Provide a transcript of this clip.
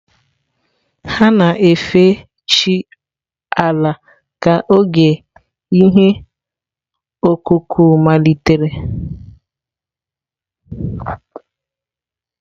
Ha na-efe chi Ala ka oge ihe ọkụkụ malitere.